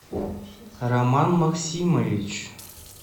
роман максимович